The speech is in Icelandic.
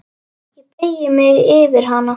Ég beygi mig yfir hana.